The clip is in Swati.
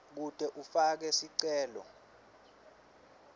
kute ufake sicelo